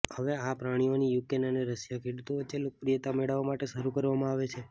હવે આ પ્રાણીઓની યુક્રેન અને રશિયા ખેડૂતો વચ્ચે લોકપ્રિયતા મેળવવા માટે શરૂ કરવામાં આવે છે